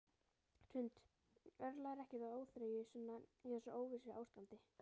Hrund: Örlar ekkert á óþreyju svona í þessu óvissuástandi?